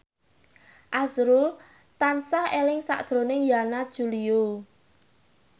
azrul tansah eling sakjroning Yana Julio